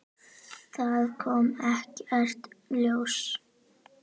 Það kom ekkert ljós.